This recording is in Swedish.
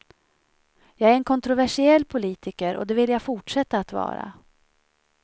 Jag är en kontroversiell politiker och det vill jag fortsätta att vara.